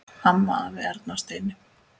Amma, afi, Erna og Steini.